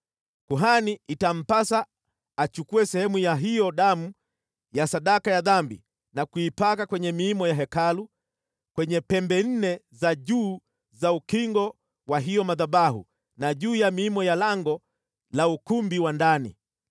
Kuhani itampasa achukue sehemu ya hiyo damu ya sadaka ya dhambi na kuipaka kwenye miimo ya Hekalu, kwenye pembe nne za juu za ukingo wa hayo madhabahu na juu ya miimo ya lango la ukumbi wa ndani.